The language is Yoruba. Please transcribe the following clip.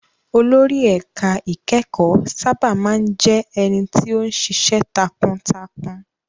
Olórí ẹ̀ka ìkẹ́kọ̀ọ́ sábà má ń jẹ́ ẹni tó ń ṣiṣẹ́ takuntakun.